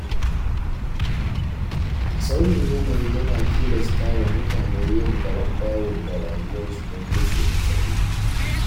Sauyin yanayi na tilasta wa mutane yin garambawul ga rayuwarsu don gujewa matsaloli.